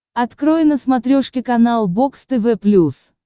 открой на смотрешке канал бокс тв плюс